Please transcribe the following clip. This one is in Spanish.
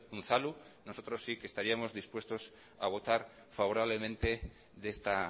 unzalu nosotros sí que estaríamos dispuestos a votar favorablemente de esta